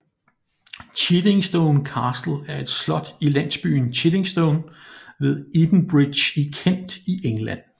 Chiddingstone Castle er et slot i landsbyen Chiddingstone ved Edenbridge i Kent i England